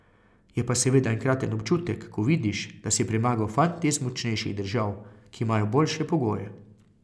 Je pa seveda enkraten občutek, ko vidiš, da si premagal fante iz močnejših držav, ki imajo boljše pogoje.